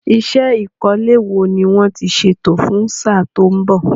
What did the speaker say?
Iṣẹ́ ìkọ́lé wo ni wọ́n ti ṣètò fún sáà tó ń bọ̀?